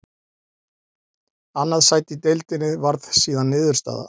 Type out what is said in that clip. Annað sæti í deildinni varð síðan niðurstaða.